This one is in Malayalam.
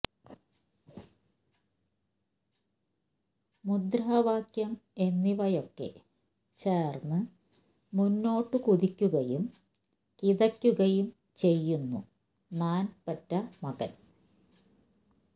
മുദ്രാവാക്യം എന്നിവയൊക്കെ ചേർന്ന് മുന്നോട്ട് കുതിക്കുകയും കിതയ്ക്കുകയും ചെയ്യുന്നു നാൻ പെറ്റ മകൻ